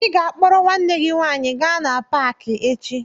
Ị ga-akpọrọ nwanne gị nwaanyị gaa na paakị echi!